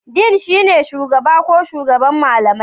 Dean shine shugaba ko shugaban malamai.